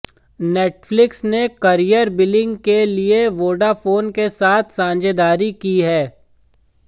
Netflix ने carrier billing के लिए वोडाफोन के साथ साझेदारी की है